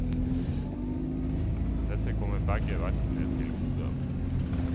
Dette kommer begge verkene til gode.